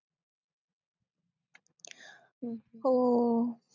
हो